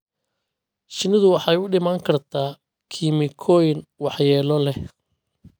Shinnidu waxay u dhiman kartaa kiimikooyin waxyeello leh.